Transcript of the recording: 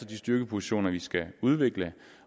de styrkepositioner vi skal udvikle